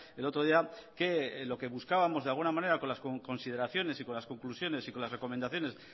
el otro día que lo que buscábamos de alguna manera con las consideraciones y con las conclusiones y con las recomendaciones